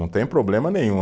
Não tem problema nenhum.